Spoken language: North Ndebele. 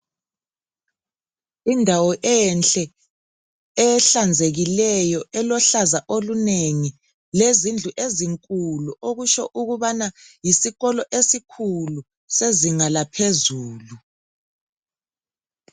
Indawo enhle ehlanzekileyo elohlaza olunengi lezindlu ezinkulu okutsho ukubana yisikolo esikhulu sezinga laphezulu.